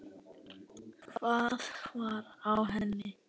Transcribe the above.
Hvað var á henni?